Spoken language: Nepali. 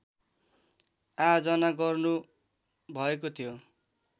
आयोजना गर्नुभएको थियो